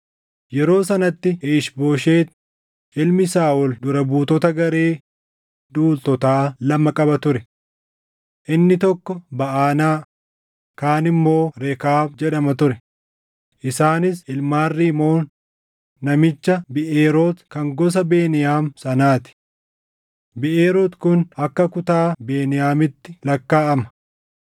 Yeroo sanatti Iish-Booshet ilmi Saaʼol dura buutota garee duultotaa lama qaba ture. Inni tokko Baʼanaa, kaan immoo Rekaab jedhama ture; isaanis ilmaan Rimoon namicha Biʼeeroot kan gosa Beniyaam sanaa ti; Biʼeeroot kun akka kutaa Beniyaamitti lakkaaʼama;